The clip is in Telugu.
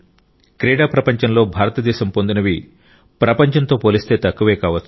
క్రీడా ప్రపంచంలో భారతదేశం పొందినవి ప్రపంచంతో పోలిస్తే తక్కువే కావచ్చు